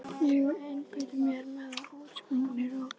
Ég einbeiti mér að útsprunginni rós.